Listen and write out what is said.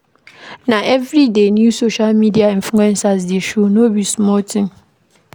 Na everyday new social media influencers dey show, no be small tin o.